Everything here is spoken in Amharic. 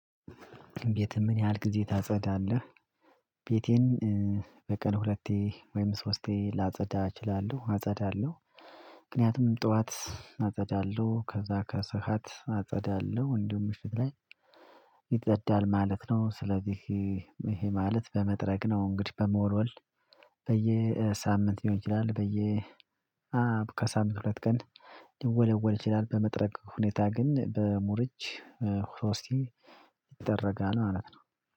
ግን ቤቴ ምን ያህል ጊዜ ታጸዳለህ? ቤቴን በቀን ሁለቴ ወይም ሶስቴ ላጸዳ እችላለሁ አጸዳለሁ። ምክንያቱም ጠዋት አጸዳለሁ ከዛ ከሰሃት አጸዳለሁ እንዲሁም ምሽት ላይ ይጸዳል ማለት ነው። ስለዚህ ይሄ ማለት በመጥረግ ነው እንግዲህ በመወልወል በየሳምንት ሊሆን ይችላል። በየ አው ከሳምንት ሁለት ቀን ሊወለወል ይችላል። በመጥረግ ሁኔታ ግን በሙር እጅ ሶስቴ ይደጠረጋል ማለት ነው።